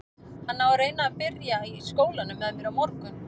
Hann á að reyna að byrja í skólanum með mér á morgun.